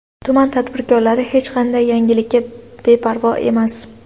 Tuman tadbirkorlari hech qanday yangilikka beparvo emas.